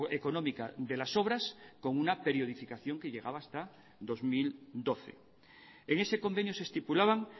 económica de las obras con una periodificación que llegaba hasta dos mil doce en ese convenio se estipulaban